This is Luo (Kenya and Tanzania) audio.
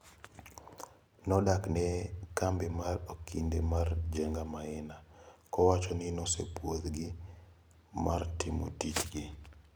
Nodok ne kambi mar okinde mar Njega Maina, kowacho ni nosepuodh gi mar timo tij gi. NCC/NCM.PREQ/001/B9/2017-18-2018-2019